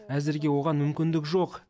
әзірге оған мүмкіндік жоқ